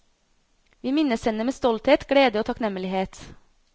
Vi minnes henne med stolthet, glede og takknemlighet.